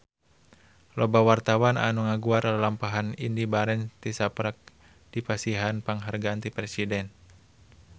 Loba wartawan anu ngaguar lalampahan Indy Barens tisaprak dipasihan panghargaan ti Presiden